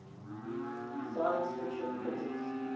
science fiction critics